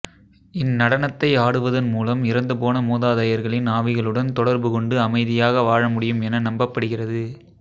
இந் நடனத்தை ஆடுவதன் மூலம் இறந்து போன மூதாதையர்களின் ஆவிகளுடன் தொடர்பு கொண்டு அமைதியாக வாழ முடியும் என நம்பப்படுகிறது